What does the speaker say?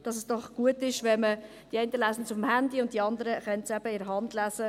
Die einen lesen es über das Handy, und die anderen können es in der Hand lesen.